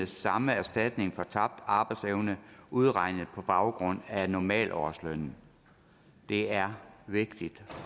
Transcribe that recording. samme erstatning for tabt arbejdsevne udregnet på baggrund af normalårslønnen det er vigtigt